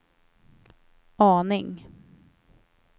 aning